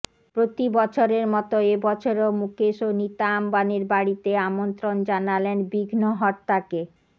প্রতি বছরের মতো এবছরও মুকেশ ও নীতা আম্বানির বাড়িতে আমন্ত্রন জানালেন বিঘ্নহর্তাকে